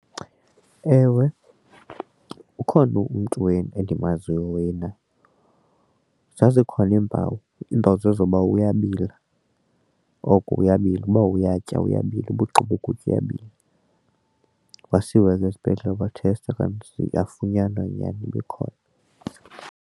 Ewe, ukhona umntu endimaziyo wena zazikhona iimpawu iimpawu zezoba uyabila oko uyabila ukuba uyatya uyabila uba ugqiba ukutya uyabila. Wasiwa ke esibhedlele kwathestwa okanye kanti yafunyanwa nyhani uba ikhona.